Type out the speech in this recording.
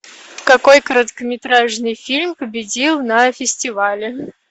какой короткометражный фильм победил на фестивале